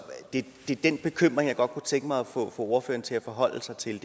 den bekymring jeg godt kunne tænke mig at få ordføreren til at forholde sig til